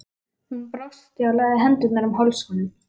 Hún brosti og lagði hendurnar um háls honum.